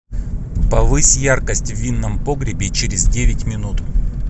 повысь яркость в винном погребе через девять минут